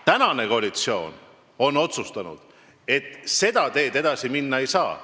Praegune koalitsioon on otsustanud, et seda teed pidi edasi minna ei saa.